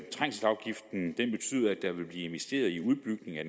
der vil blive investeret i udbygning af